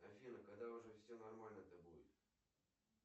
афина когда уже все нормально то будет